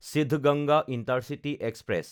Siddaganga intercity express